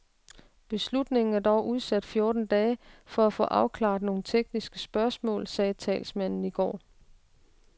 Beslutningen er dog udsat fjorten dage for at få afklaret nogle tekniske spørgsmål, sagde talsmanden i går.